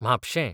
म्हापशें